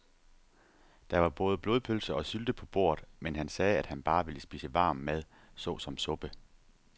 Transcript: Der var både blodpølse og sylte på bordet, men han sagde, at han bare ville spise varm mad såsom suppe.